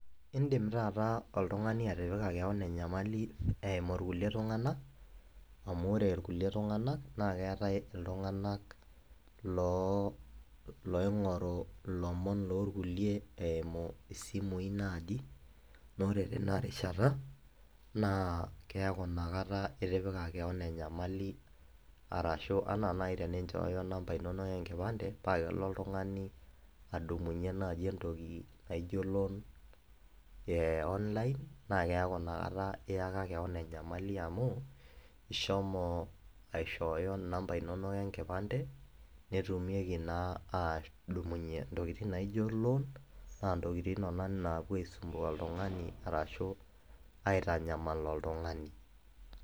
Indim taata oltungani atipika keon enyamali eimu kulie tunganak amu ore kulie tunganak na keetae ltunganak loloingoru lomon lorkulie eimu simui naji, na ore tinarishata na keaku inakata itipika keon ina nyamali arashu anaa nai teninchooyo namba inonok enkipande pakelo oltungani adumunye entoki naijo loan e online na keaku inakata iyaka keon enyamali amu ishomo aishooyo namba inonok enkipande netumieki naa adumunye ntokitin naijo loan na ntokitin nona napuo aitanyamal oltungani ashu aitanyamal oltungani.